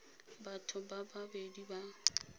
batho ba ba bedi ba